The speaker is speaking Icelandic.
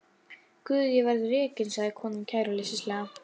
Guð ég verð rekin, sagði konan kæruleysislega.